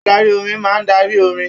Adarí orin máa n darí orin.